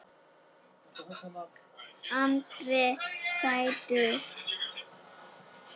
Andri: Sætur sigur?